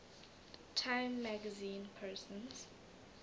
time magazine persons